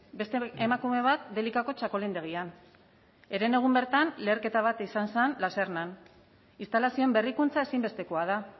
beste emakume bat delikako txakolindegian herenegun bertan leherketa bat izan zen lasernan instalazioen berrikuntza ezinbestekoa da